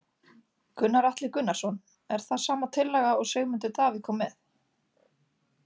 Gunnar Atli Gunnarsson: Er það sama tillaga og Sigmundur Davíð kom með?